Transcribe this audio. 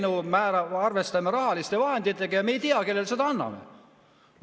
Teeme eelnõu, arvestame rahaliste vahenditega ja me ei tea, kellele need anname.